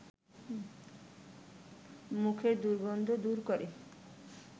মুখের দুর্গন্ধ দূর করে